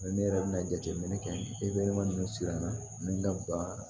ne yɛrɛ bɛna jateminɛ kɛ ninnu siranna ani n ka ba